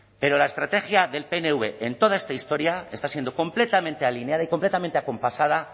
pero la estrategia del pnv en toda esta historia está siendo completamente alineada y completamente acompasada